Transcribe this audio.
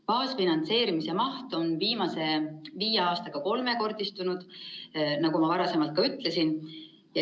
Baasfinantseerimise maht on viimase viie aastaga kolmekordistunud, nagu ma varasemalt ka ütlesin.